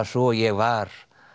sú að ég var